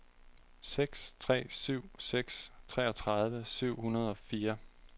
seks tre syv seks treogtredive syv hundrede og fire